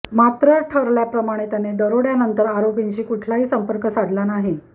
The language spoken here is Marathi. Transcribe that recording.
मात्र ठरल्याप्रमाणे त्याने दरोडयानंतर आरोपींशी कुठलाही संपर्क साधला नाही